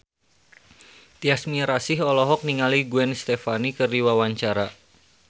Tyas Mirasih olohok ningali Gwen Stefani keur diwawancara